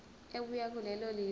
ebuya kulelo lizwe